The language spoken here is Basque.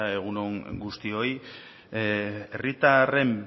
egun on guztioi herritarren